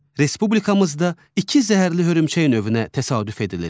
Respublikamızda iki zəhərli hörümçək növünə təsadüf edilir.